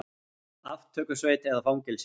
Aftökusveit eða fangelsi?